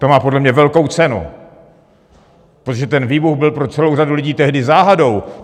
To má podle mě velkou cenu, protože ten výbuch byl pro celou řadu lidí tehdy záhadou.